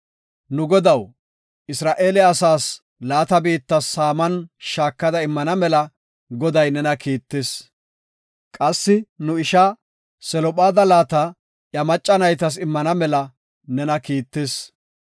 “Nu godaw, Isra7eele asaas laata biitta saaman shaakada immana mela Goday nena kiittis; qassi nu ishaa Selophaada laata iya macca naytas immana mela nena kiittis.